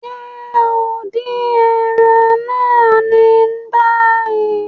Ṣe o n din ẹran naa ni bayi?